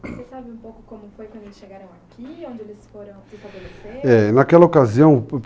Você sabe um pouco como foi quando eles chegaram aqui, onde eles foram se estabelecer? É, naquela ocasião, por